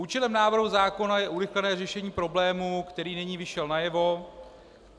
Účelem návrhu zákona je urychlené řešení problému, který nyní vyšel najevo.